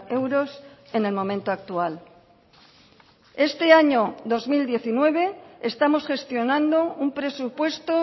euros en el momento actual este año dos mil diecinueve estamos gestionando un presupuesto